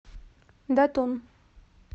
датун